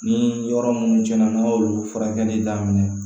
Ni yɔrɔ minnu cɛnna n'a y'olu furakɛli daminɛ